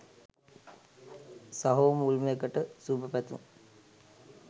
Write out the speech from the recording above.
සහෝ මුල්ම එකට සුබ පැතුම්!